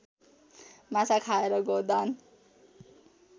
माछा खाएर गौदान